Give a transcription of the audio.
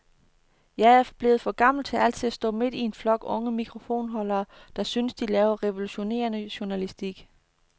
Jeg er blevet for gammel til altid at stå midt i en flok unge mikrofonholdere, der synes, de laver revolutionerende journalistik.